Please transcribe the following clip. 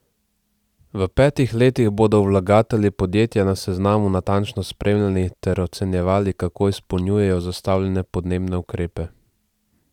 V petih letih bodo vlagatelji podjetja na seznamu natančno spremljali ter ocenjevali, kako izpolnjujejo zastavljene podnebne ukrepe.